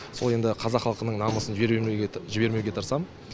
сол енді қазақ халқының намысын жібермеуге тырысам